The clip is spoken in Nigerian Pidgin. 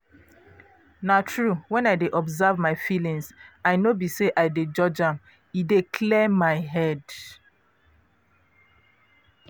na true wen i dey observe my feelings i no be say i de judge am e dey clear my head.